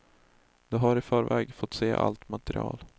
De har i förväg fått se allt material.